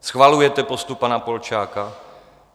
Schvalujete postup pana Polčáka?